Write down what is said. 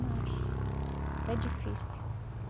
Mas, está difícil.